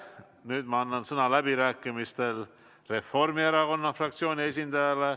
Nüüd ma annan läbirääkimistel sõna Reformierakonna fraktsiooni esindajale.